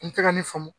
N tɛ ka ne faamu